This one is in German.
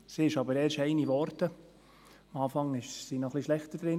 Sie ist aber erst zu einer geworden, am Anfang war sie schlechter dran.